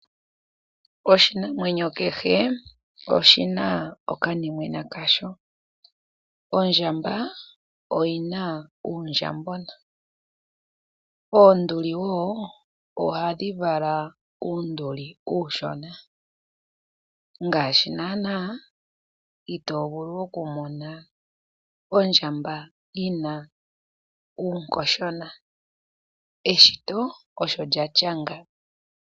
Oshinamwenyo kehe oshina okanimwena kasho, ondjamba oyina uundjambona. Oonduli wo ohadhi vala uunduli uushona, ngaashi nana ito vulu okumona ondjamba yina uunkoshona eshito osho lyatya nga.